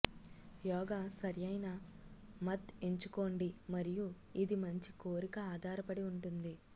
యోగ సరైన మత్ ఎంచుకోండి మరియు ఇది మంచి కోరిక ఆధారపడి ఉంటుంది